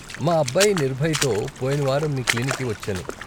మా అబ్బాయి నిర్భయ్తో పొయిన వారం మీ క్లినిక్కి వచ్చాను.